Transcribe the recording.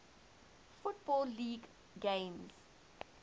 football league games